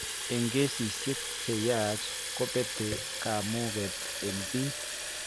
Eng' kesisiek cheyach kobete kamuuget eng' biik